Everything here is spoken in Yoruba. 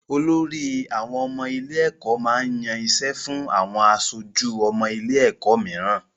Olorí àwọn ọmọ ilé-ẹ̀kọ́ máa ń yan iṣẹ́ fún àwọn aṣojú ọmọ ilé-ẹ̀kọ́ mìíràn.